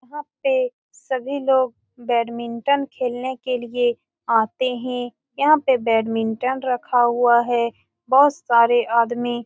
यहां पे सभी लोग बैडमिंटन खेलने के लिए आते हैं यहां पे बैडमिंटन रखा हुआ है बहुत सारे आदमी --